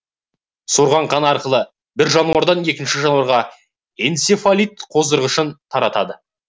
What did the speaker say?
сорған қаны арқылы бір жануардан екінші жануарға энцефалит қоздырғышын таратады